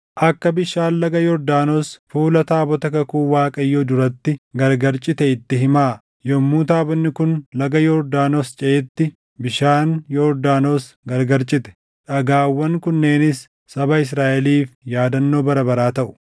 akka bishaan laga Yordaanos fuula taabota kakuu Waaqayyoo duratti gargar cite itti himaa. Yommuu taabonni kun laga Yordaanos ceʼetti bishaan Yordaanos gargar cite. Dhagaawwan kunneenis saba Israaʼeliif yaadannoo bara baraa taʼu.”